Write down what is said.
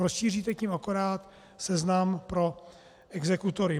Rozšíříte tím akorát seznam pro exekutory.